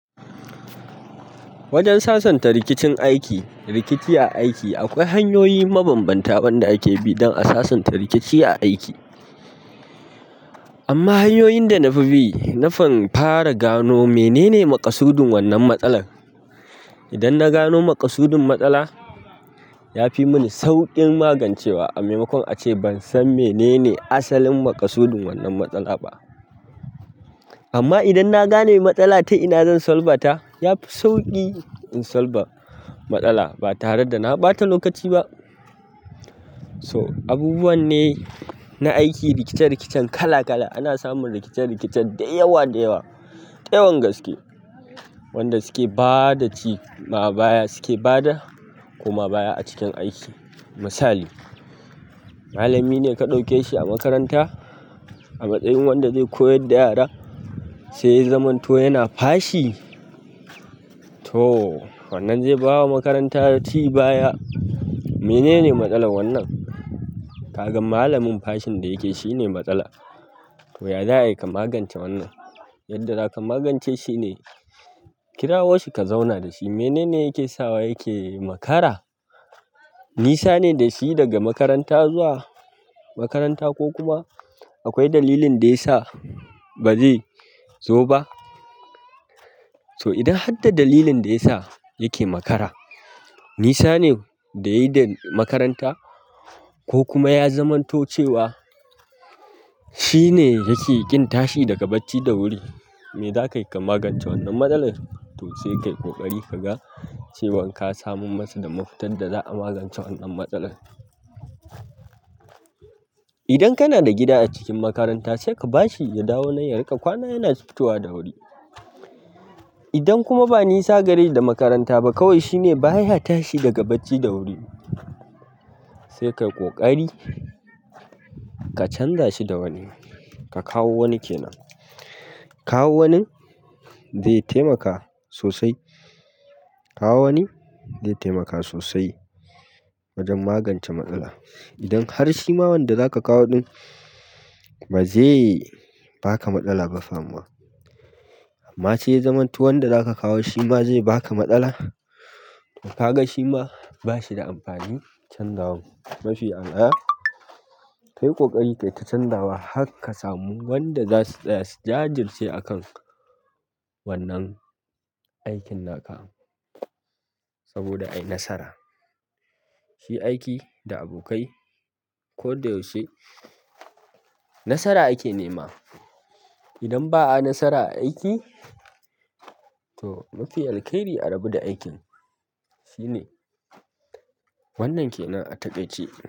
Wajen sasanta rikicin aiki, rikici a aiki akwai hanyoyi mabanbanta waɗanda ake bi don a sasanta rikici a aiki. Amma hanyoyin da na fi bi, nafi fara gano menene makasudin wannan matsalar. Idan na gano makasudin matsala, ya fi mani sauƙin magance wa. A maimakon ace ban san menene asalin maƙasudin wannan matsala ba. Amma idan na gane matsala ta ina zan solbata, yafi sauƙi in solba matsala ba tare da na ɓata lokaci ba. So, abubuwan ne na aiki rikice-rikicen kala-kala. Ana samun rikice-rikice da yawa da yawa, da yawan gaske. Wanda suke ba da ci ma baya suke bada, kuma baya a cikin aiki. Misali, malamine ka ɗauke shi a makaranta a matsayin wanda zai koyar da yara, sai ya zamanto yana fashi. To, wannan zai ba wa makaranta ci baya. Menene matsalar wannan? Ka gan malamin fashin da yake shine matsala. To, ya za a yi ka magance wannan? Yadda zaka magance shine kirawo shi ka zauna da shi. Menene yake sawa yake makara? Nisa ne da shi daga makaranta zuwa makaranta ko kuma akwai dalilin da ya sa ba zai zo ba? So, idan har da dalilin da ya sa yake makara nisa ne da yi da makaranta ko kuma ya zamanto cewa shine yake ƙin tashi daga bacci da wuri. Me zaka yi ka magance wannan matsalar? To sai ka yi ƙoƙari ka ga cewan ka samu masa damar fitar da za'a magance wannan matsalar. Idan kana da gida a cikin makaranta sai ka bashi ya dawo nan ya riƙa kwana yana fitowa da wuri. Idan kuma ba nisa gare shi da makaranta ba kawai shine baya tashi daga bacci da wuri, sai ka yi ƙoƙari ka canza shi da wani. Ka kawo wani ke nan. Kawo wanin zai taimaka sosai. Kawo wani zai taimaka sosai wajen magance matsala. Idan har shi ma wanda zaka kawo ɗin ba zai baka matsala ba fa amma. Amma sai ya zamanto wanda zaka kawo shi ma zai baka matsala. Kaga shima bashida amfanin canza wan mafiya al'ada. Kai ƙoƙari kai ta canza wa har ka samu wanda za su tsaya su jajirce a kan wannan aikin na ka saboda a yi nasara. Shi aiki da abokai ko da yaushe nasara ake nema. Idan ba'a nasara a aiki to mafiya alƙairi a rabu da aikin shine. Wannan ke nan a taƙaice.